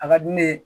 A ka di ne ye